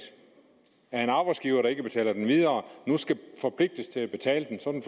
af en arbejdsgiver der ikke betaler den videre nu skal forpligtes til at betale den sådan